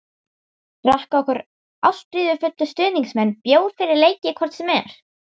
Drekka okkar ástríðufullu stuðningsmenn bjór fyrir leiki hvort sem er?